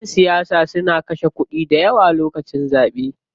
Ƴan siyasa suna kashe kuɗi dayawa lokacin zaɓe.